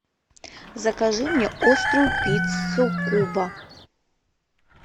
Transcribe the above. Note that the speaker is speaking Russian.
закажи мне острую пиццу куба